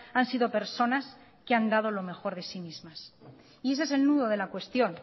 han sido personas que han dado lo mejor de sí mismas y ese es el nudo de la cuestión